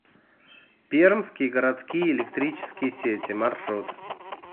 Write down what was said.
пермские городские электрические сети маршрут